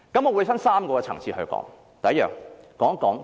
我會分3個層次說明。